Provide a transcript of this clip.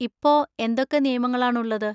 ഇപ്പോ എന്തൊക്കെ നിയമങ്ങളാണുള്ളത്?